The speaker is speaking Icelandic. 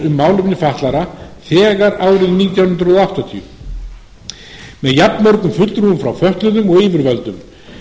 um málefni fatlaða þegar árið nítján hundruð áttatíu með jafnmörgum fulltrúum frá fötluðum og yfirvöldum